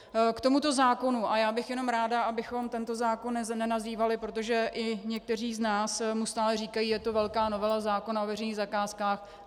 K tomuto zákonu, a já bych jenom ráda, abychom tento zákon nenazývali, protože i někteří z nás mu stále říkají, je to velká novela zákona o veřejných zakázkách.